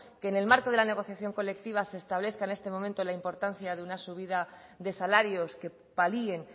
que en el marco de la negociación colectiva se establezca en este momento la importancia de una subida de salarios que palien